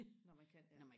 når man kan ja